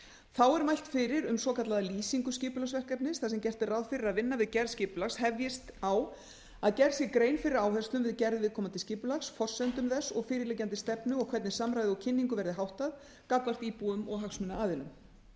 þá er mælt fyrir um svokallaða lýsingu skipulagsverkefnis þar sem gert er ráð fyrir að vinna við gerð skipulags hefjist á að gerð sé grein fyrir áherslum við gerð viðkomandi skipulags forsendum þess og fyrirliggjandi stefnu og hvernig samræði og kynningu verði háttað gagnvart íbúum og hagsmunaaðilum